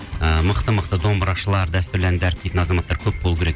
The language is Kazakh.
ыыы мықты мықты домбырашылар дәстүрлі әнді дәріптейтін азаматтар көп болу керек